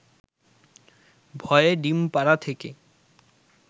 ভয়ে ডিমপাড়া থেকে